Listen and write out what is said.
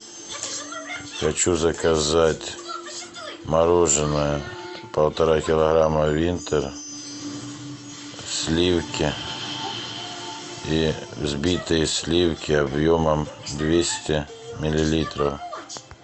хочу заказать мороженое полтора килограмма винтер сливки и взбитые сливки объемом двести миллилитров